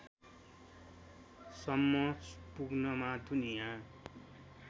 सम्म पुग्नमा दुनिया